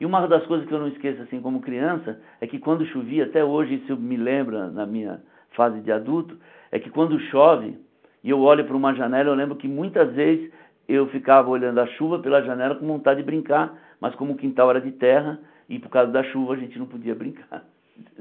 E uma das coisas que eu não esqueço assim como criança é que quando chovia, até hoje isso me lembra na minha fase de adulto, é que quando chove e eu olho para uma janela eu lembro que muitas vezes eu ficava olhando a chuva pela janela com vontade de brincar, mas como o quintal era de terra e por causa da chuva a gente não podia brincar.